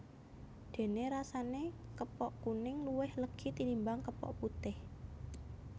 Déné rasané kepok kuning luwih legi tinimbang kepok putih